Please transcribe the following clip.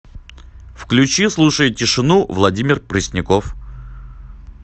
включи слушая тишину владимир пресняков